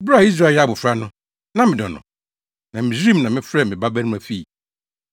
“Bere a Israel yɛ abofra no, na medɔ no, na Misraim na mefrɛɛ me babarima fii.